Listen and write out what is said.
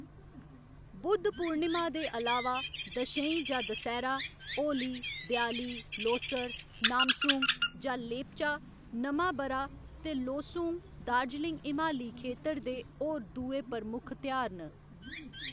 बुद्ध पूर्णिमा दे अलावा, दशईं जां दसैह्‌‌रा, होली, देआली, लोसर, नामसूंग जां लेपचा नमां ब'रा ते लोसूंग दार्जिलिंग हिमालयी खेतर दे होर दूए प्रमुख तेहार न।